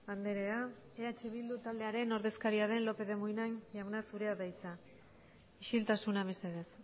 andrea eh bildu taldearen ordezkaria den lópez de munain jauna zurea da hitza isiltasuna mesedez